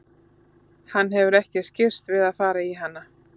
Hann hefur ekki skirrst við að fara í hana.